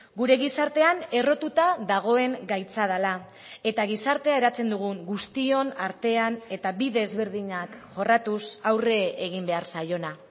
gure gizartean errotuta dagoen gaitza dela eta gizartea eratzen dugun guztion artean eta bide ezberdinak jorratuz aurre egin behar zaiona